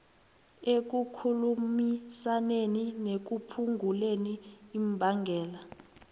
ekukhulumisaneni nekuphunguleni imbangela